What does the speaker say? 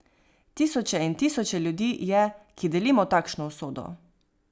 Tisoče in tisoče ljudi je, ki delimo takšno usodo.